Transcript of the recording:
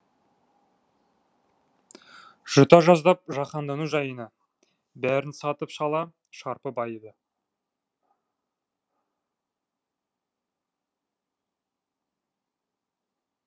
жұта жаздап жаһандану жайыны бәрін сатып шала шарпы байыды